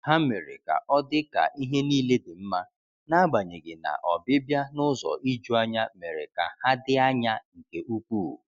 Ha mere ka ọdị ka ihe niile dị mma, n'agbanyeghi na ọbịbịa n’ụzọ ijuanya mere ka ha dị anya nke ukwuu.